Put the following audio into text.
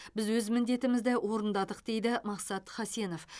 біз өз міндетімізді орындадық дейді мақсат хасенов